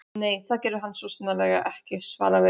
Nei, það gerði hann svo sannarlega ekki- svaraði